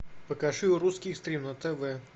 покажи русский экстрим на тв